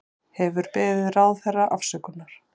Hefur beðið ráðherra afsökunar